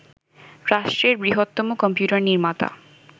রাষ্ট্রের বৃহত্তম কম্পিউটার নির্মাতা